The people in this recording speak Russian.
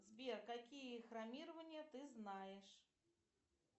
сбер какие хромирования ты знаешь